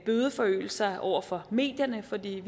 bødeforøgelser over for medierne for vi